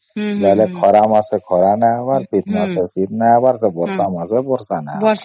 ବୋଲେ ଖରା ମାସ ଖରା ନାଇ ହବର ଶୀତ ମାସେ ଶୀତ ନାଇ ହବର ଆଉ ବର୍ଷା ମାସେ ବର୍ଷା ନାଇ ହବାର